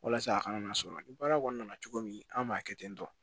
Walasa a kana sɔn ni baara kɔni nana cogo min an b'a kɛ ten tɔ